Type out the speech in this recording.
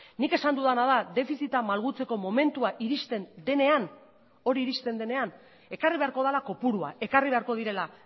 nik esan dudana da defizita malgutzeko momentua iristen denean hori iristen denean ekarri beharko dela kopurua ekarri beharko direla